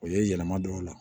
O ye yɛlɛma don o la